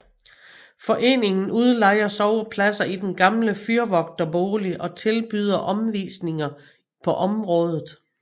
Foreningen udlejer sovepladser i den gamle fyrvogterbolig og tilbyder omvisninger på området